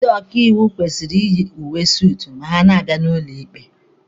Ndị ọkaiwu kwesịrị iyi uwe suutu ma ha na-abịa n'ụlọ ikpe.